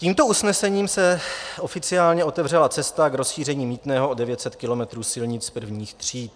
Tímto usnesením se oficiálně otevřela cesta k rozšíření mýtného o 900 km silnic prvních tříd.